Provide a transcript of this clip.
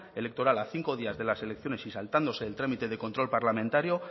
electoral a cinco días de las elecciones y saltándose el trámite de control parlamentario